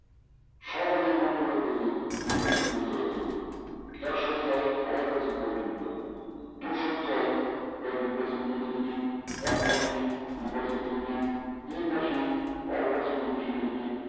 return is due দেখাচ্ছে দেখুন আড়াই percent পর্যন্ত return দুইশ ছয় percent পর্যন্ত negative এক মাসে দু percent negative তিন মাসে বারো percent এর বেশি negative